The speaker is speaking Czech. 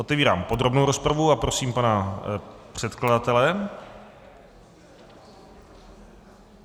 Otevírám podrobnou rozpravu a prosím pana předkladatele.